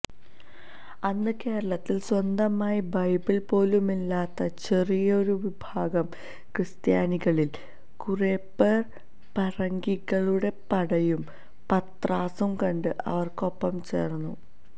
അന്ന് കേരളത്തില് സ്വന്തമായി ബൈബിള് പോലുമില്ലാത്ത ചെറിയൊരു വിഭാഗം ക്രിസ്ത്യാനികളില് കുറേപ്പേര് പറങ്കികളുടെ പടയും പത്രാസും കണ്ട് അവര്ക്കൊപ്പം ചേര്ന്നു